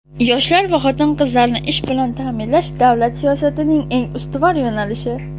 Yoshlar va xotin-qizlarni ish bilan ta’minlash - davlat siyosatining eng ustuvor yo‘nalishi.